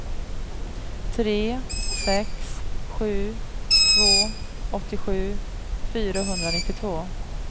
tre sex sju två åttiosju fyrahundranittiotvå